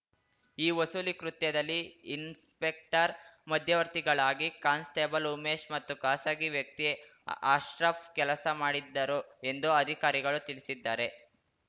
ಈ ವಸೂಲಿ ಕೃತ್ಯದಲ್ಲಿ ಇನ್ಸ್‌ಪೆಕ್ಟರ್‌ ಮಧ್ಯವರ್ತಿಗಳಾಗಿ ಕಾನ್‌ಸ್ಟೇಬಲ್‌ ಉಮೇಶ್‌ ಮತ್ತು ಖಾಸಗಿ ವ್ಯಕ್ತಿ ಅಶ್ರಫ್‌ ಕೆಲಸ ಮಾಡಿದ್ದರು ಎಂದು ಅಧಿಕಾರಿಗಳು ತಿಳಿಸಿದ್ದಾರೆ